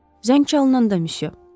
Zəng çalınanda, misyo.